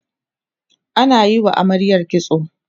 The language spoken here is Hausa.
ana Yi wa amaryar kitso